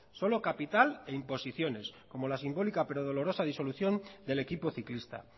solo capital e imposiciones como la simbólica pero dolorosa disolución del equipo ciclista